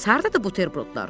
Bəs hardadır buterbrodlar?